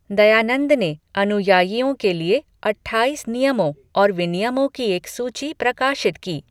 दयानंद ने अनुयायियों के लिए अट्ठाईस नियमों और विनियमों की एक सूची प्रकाशित की।